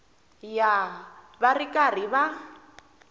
ya va ri karhi va